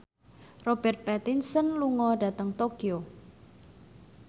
Robert Pattinson lunga dhateng Tokyo